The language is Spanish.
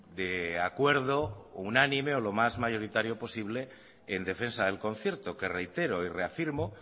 de acuerdo unánime o lo más mayoritario posible en defensa del concierto que reitero y reafirmo